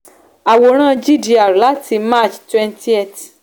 àwòrán gdr láti march 20th